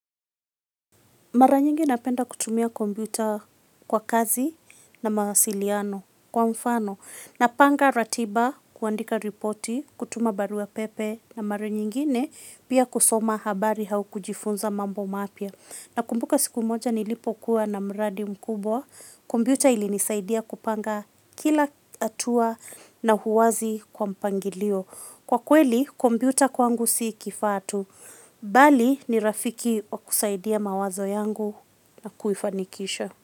Mara nyingi napenda kutumia kompyuta kwa kazi na mawasiliano kwa mfano. Napanga ratiba kuandika ripoti, kutuma barua pepe na mara nyingine pia kusoma habari au kujifunza mambo mapya. Nakumbuka siku moja nilipokuwa na mradi mkubwa kompyuta ilinisaidia kupanga kila hatua na uwazi na mpangilio. Kwa kweli, kompyuta kwangu si kifaa tu. Bali, ni rafiki wa kusaidia mawazo yangu na kuifanikisha.